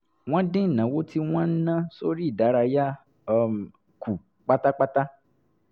wọ́n dín ìnáwó tí wọ́n ń ná sórí ìdárayá um kù pátápátá